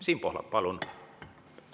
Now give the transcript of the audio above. Siim Pohlak, palun!